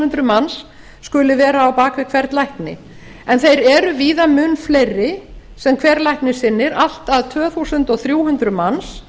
hundruð manns skulu vera á bak við hvern lækni en þeir eru víða mun fleiri sem hver læknir sinnir allt að tvö þúsund þrjú hundruð manns